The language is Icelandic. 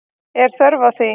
Er þörf á því?